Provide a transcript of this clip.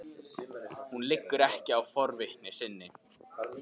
Hún liggur ekki á forvitni sinni.